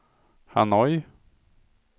Hanoi